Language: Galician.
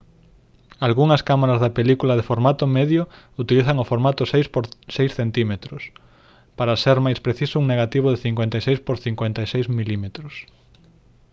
algunhas cámaras de película de formato medio utilizan o formato 6 por 6 cm para ser máis precisos un negativo de 56 por 56 mm